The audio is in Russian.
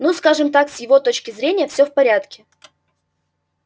ну скажем так с его точки зрения всё в порядке